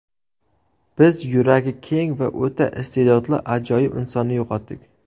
Biz yuragi keng va o‘ta iste’dodli ajoyib insonni yo‘qotdik.